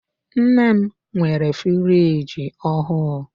Nne m nwere friji ọhụụ.